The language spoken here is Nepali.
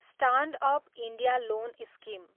stand up India loan scheme